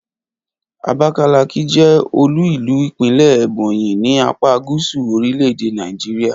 Abakaliki ni olú-ìlú ìpínlè̩ Ebonyi ní apá gúsù orílè̩-èdè Nàìjíríà